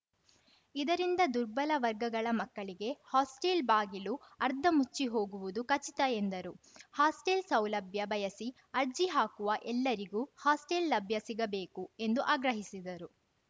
ಇದರಿಂದ ದುರ್ಬಲ ವರ್ಗಗಳ ಮಕ್ಕಳಿಗೆ ಹಾಸ್ಟೆಲ್‌ ಬಾಗಿಲು ಅರ್ಧ ಮುಚ್ಚಿಹೋಗುವುದು ಖಚಿತ ಎಂದರು ಹಾಸ್ಟೆಲ್‌ ಸೌಲಭ್ಯ ಬಯಸಿ ಅರ್ಜಿ ಹಾಕುವ ಎಲ್ಲರಿಗೂ ಹಾಸ್ಟೆಲ್‌ ಲಭ್ಯ ಸಿಗಬೇಕು ಎಂದು ಆಗ್ರಹಿಸಿದರು